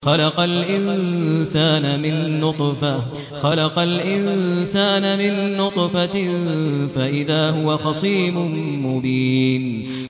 خَلَقَ الْإِنسَانَ مِن نُّطْفَةٍ فَإِذَا هُوَ خَصِيمٌ مُّبِينٌ